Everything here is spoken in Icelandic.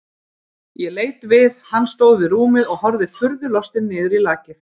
Ég leit við, hann stóð við rúmið og horfði furðu lostinn niður í lakið.